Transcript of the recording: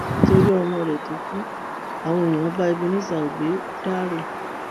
nítorí ọmọ rẹ tó kù àwọn èèyàn bá ebenezer obey dárò